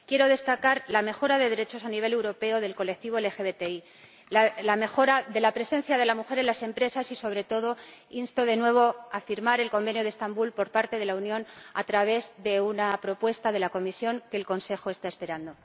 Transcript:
Quiero destacar la mejora de derechos a nivel europeo del colectivo LGBTI, la mejora de la presencia de la mujer en las empresas y, sobre todo, insto de nuevo a firmar el Convenio de Estambul, por parte de la Unión, a través de una propuesta de la Comisión que el Consejo está esperando.